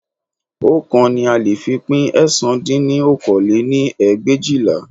Oókan ni a lè fi pín ẹ̀sán dín ní okòó lé-ní ẹgbẹ̀éjìlá.